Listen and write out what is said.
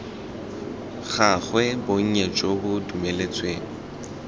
gagwe bonnye jo bo dumeletsweng